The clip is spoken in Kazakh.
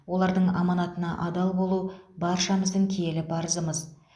олардың аманатына адал болу баршамыздың киелі парызымыз